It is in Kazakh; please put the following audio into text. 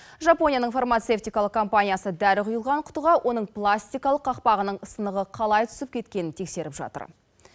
жапонияның фармацевтикалық компаниясы дәрі құйылған құтыға оның пластикалық қақпағының сынығы қалай түсіп кеткенін тексеріп жатыр